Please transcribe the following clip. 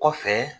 Kɔfɛ